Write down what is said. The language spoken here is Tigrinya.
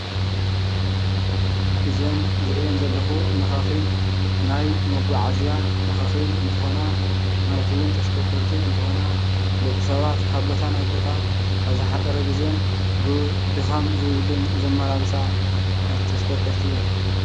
እዘን ዝርኤን ዘለኹ መኻኺን ናይ መጓዓዝያ መኻኺን እንትኾና ማለት ውን ተሽከርከርቲ እንትኾና ደቂ ሰባት ካብ ቦታ ናብ ቦታ ኣብ ዝሓፀረ ግዜን ብ ድኻም ዘይብሉን ዘመላልሳ ተሽከርከርቲ እየን።